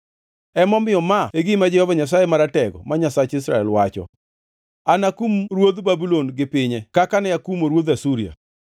Emomiyo ma e gima Jehova Nyasaye Maratego, ma Nyasach Israel, wacho: “Anakum ruodh Babulon gi pinye kaka ne akumo ruodh Asuria.